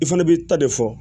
I fana b'i ta de fɔ